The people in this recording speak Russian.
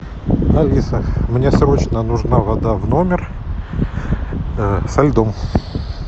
алиса мне срочно нужна вода в номер со льдом